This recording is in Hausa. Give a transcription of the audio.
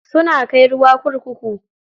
Suna kai ruwa kurkuku